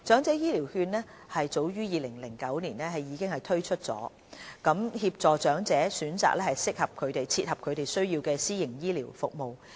政府早於2009年已經推出長者醫療券計劃，協助長者選擇切合他們需要的私營醫療服務。